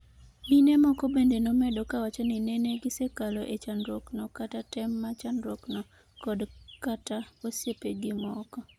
mine moko bende nomedo kawacho ni nene gisekale e chandruok no kata tem ma chandruok no kod kata osiepegi moko